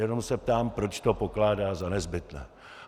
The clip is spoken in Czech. Jenom se ptám, proč to pokládá za nezbytné.